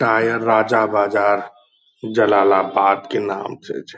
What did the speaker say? टायर राजा बाजार जलालाबाद के नाम से छै।